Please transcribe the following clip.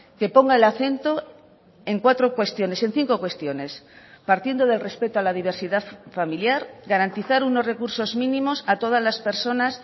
que ponga el acento en cuatro cuestiones en cinco cuestiones partiendo del respeto a la diversidad familiar garantizar unos recursos mínimos a todas las personas